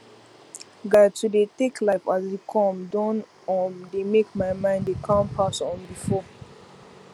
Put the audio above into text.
guy to dey tek life as e come don um dey mek my mind dey calm pass um before